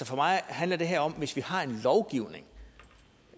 for mig handler det om at hvis vi har en lovgivning